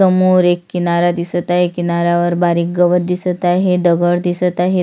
समोर एक किनारा दिसत आहे किनाऱ्यवर बारीक गवत दिसत आहे दगड दिसत आहेत.